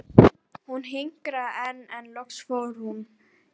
Hún hikaði enn en loks fór hún.